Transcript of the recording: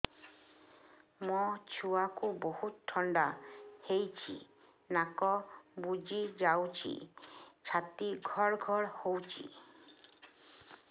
ମୋ ଛୁଆକୁ ବହୁତ ଥଣ୍ଡା ହେଇଚି ନାକ ବୁଜି ଯାଉଛି ଛାତି ଘଡ ଘଡ ହଉଚି